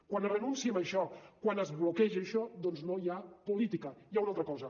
quan es renuncia a això quan es bloqueja això doncs no hi ha política hi ha una altra cosa